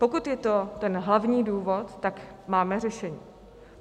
Pokud je to ten hlavní důvod, tak máme řešení.